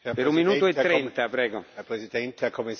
Herr Präsident, Herr Kommissar, meine Damen und Herren!